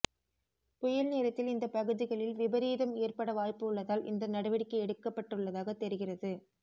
புயல் நேரத்தில் இந்த பகுதிகளில் விபரீதம் ஏற்பட வாய்ப்பு உள்ளதால் இந்த நடவடிக்கை எடுக்கப்பட்டுள்ளதாக தெரிகிறது